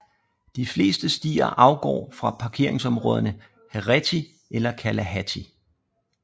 De fleste stier afgår fra parkeringsområderne Heretty eller Kalalahti